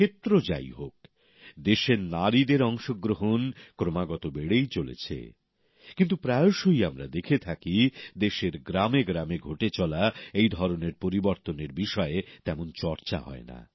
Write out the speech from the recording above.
ক্ষেত্র যাই হোক দেশের নারীদের অংশগ্রহণ ক্রমাগত বেড়েই চলেছে কিন্তু প্রায়শই আমরা দেখে থাকি দেশের গ্রামে গ্রামে ঘটে চলা এই ধরনের পরিবর্তনের বিষয়ে তেমন চর্চা হয় না